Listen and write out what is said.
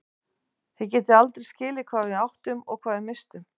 Þið getið aldrei skilið hvað við áttum og hvað við misstum.